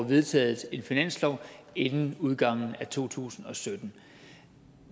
vedtaget en finanslov inden udgangen af to tusind og sytten